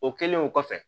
O kɛlen o kɔfɛ